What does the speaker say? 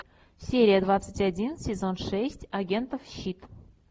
серия двадцать один сезон шесть агентов щит